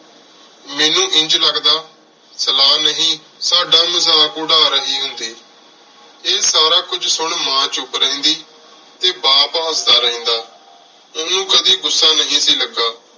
ਮੇਨੂ ਇੰਜ ਲਗਦਾ ਸਲਾਹ ਨਹੀ ਸਦਾ ਮਜ਼ਾਕ ਉਰ ਰਹੀ ਹੁੰਦੀ ਆਯ ਸਾਰਾ ਕੁਝ ਸੁਨ ਮਾਂ ਚੁਪ ਰਿਹੰਦੀ ਟੀ ਬਾਪ ਹਸਦਾ ਰਹੰਦਾ ਓਹਨੁ ਕਦੀ ਗੁੱਸਾ ਨਹੀ ਸੀ ਲਗ